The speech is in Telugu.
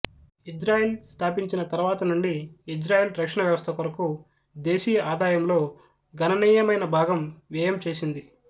ఇజ్రాయిల్ స్థాపించిన తరువాత నుండి ఇజ్రాయిల్ రక్షణవ్యవస్థ కొరకు దేశీయ ఆదాయంలో గణానీయమైన భాగం వ్యయం చేసింది